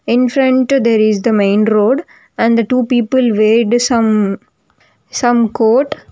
In front there is the main road and the two people were the some some quote.